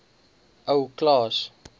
ou klaas